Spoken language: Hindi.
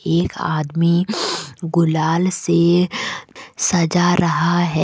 एक आदमी गुलाल से सजा रहा है।